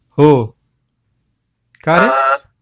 हो, का रे?